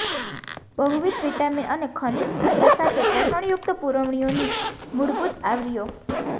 બહુવિધ વિટામિન અને ખનિજ સૂત્ર સાથે પોષણયુક્ત પૂરવણીઓની મૂળભૂત આવરીઓ